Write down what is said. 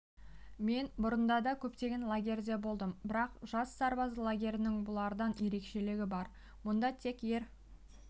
мен бұрында да көптеген лагерьде болдым бірақ жас сарбаз лагерінің бұлардан ерекшелігі бар мұнда тек ер